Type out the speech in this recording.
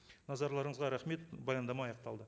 назарларыңызға рахмет баяндама аяқталды